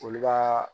Olu ka